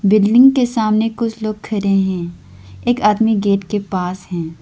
Building के सामने कुछ लोग खड़े हैं एक आदमी गेट के पास है।